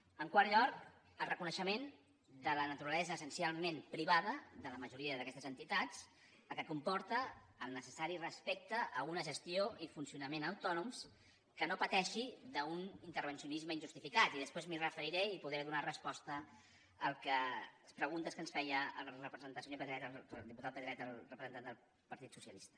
en quart lloc el reconeixement de la naturalesa essencialment privada de la majoria d’aquestes entitats la qual cosa comporta el necessari respecte a una gestió i un funcionament autònoms que no pateixin un intervencionisme injustificat i després m’hi referiré i podré donar resposta a les preguntes que ens feia el senyor pedret el diputat pedret el representant del partit socialista